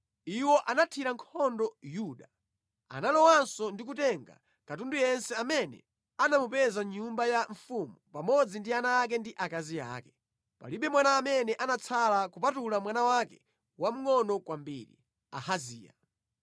Iwo anathira nkhondo Yuda. Analowanso ndi kutenga katundu yense amene anamupeza mʼnyumba ya mfumu pamodzi ndi ana ake ndi akazi ake. Palibe mwana amene anatsala kupatula mwana wake wamngʼono kwambiri, Ahaziya.